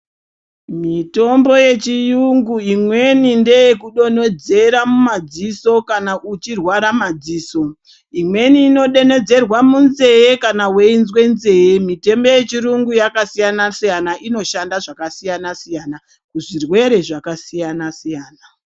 Mitombo yechiyungu imweni ndeyekudonhedzera mumadziso kana uchirwara madziso imweni inodonhedzerwe munzee kana weinzwe nzee mitombo yechiyungu yakasiyana siyana inoshanda zvakasiyana siyana kuzvirwere zvakasiyana siyana.